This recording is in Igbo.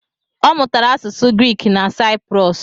Ọ mụtara asụsụ Griik na Sayiprọs